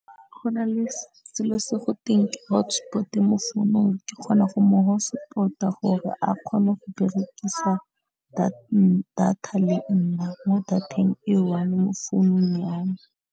Go na le selo se go teng ke hotspot mo founung ke kgona go mo hotspot-a gore a kgone go berekisa data le nna mo data-eng e one mo founung ya me.